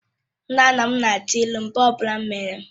Nna nna m na-atụ ilu mgbe ọ bụla m mehiere.